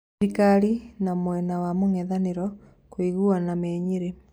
Thirikari na mwena wa mũng'etha niro kũiguana mĩ Nyerĩ